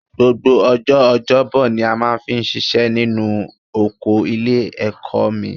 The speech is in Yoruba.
Gbogbo ọjọ́ ọjọ́bọ ni a máa fi ń ṣiṣẹ́ nínú oko ilé-ẹ̀kọ́ mi